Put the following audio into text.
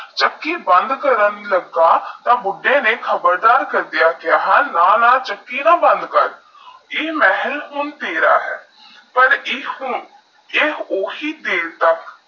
ਚੱਕੀ ਬੰਦ ਕਰਨ ਲਗਾ ਤਾਹ ਬੁੱਦੇ ਨੇਈ ਖ਼ਬਰ ਕਰ ਦੇਹਾ ਕਹਾ ਨਾਹ ਨਾਹ ਚੱਕੀ ਨਾ ਬੰਦ ਕਰ ਯਹ ਮਹਲ ਹੁਣ ਤੇਰਾ ਹੈ ਪਰ ਐਸਟੋਹ ਆਓਹੀ ਟੇਲ